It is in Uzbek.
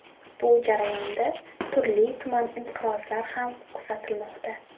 Bu jarayonda turli-tuman inqirozlar ham kuzatilmoqda.